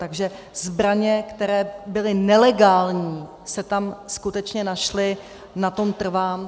Takže zbraně, které byly nelegální, se tam skutečně našly, na tom trvám.